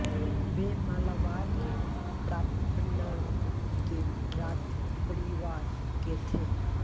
वे मालाबार के पराप्पनद के राजपरिवार के थे